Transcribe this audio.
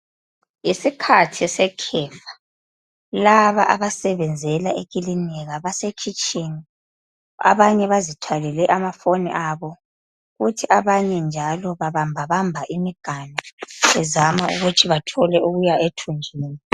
Ngesikhathi sekhefa laba abasebenzela ekilinika basekhitshini abanye bazithwalele amafoni abo kuthi abanye njalo babambabamba imiganu bezama ukuthi bathole okuya ethunjini.